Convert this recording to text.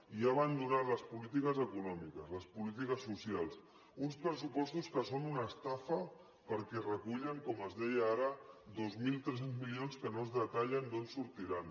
i ha abandonat les polítiques econòmiques les polítiques socials uns pressupostos que són una estafa perquè recullen com es deia ara dos mil tres cents milions que no es detallen d’on sortiran